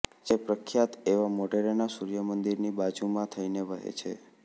જે પ્રખ્યાત એવા મોઢેરાના સુર્ય મંદીરની બાજુમાં થઇને વહે છે